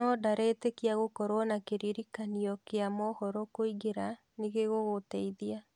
No ndaretĩkia gũkorwo na kĩririkanio kĩa mohoro kũingĩra nĩ gũgũteithia.